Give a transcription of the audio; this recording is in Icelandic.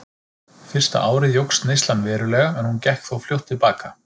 Fyrsta árið jókst neyslan verulega en hún gekk þó fljótt til baka.